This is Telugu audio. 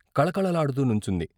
కళకళ లాడుతూ నుంచుంది.